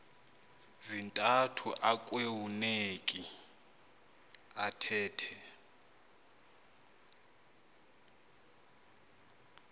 zintathu akueuneki athethe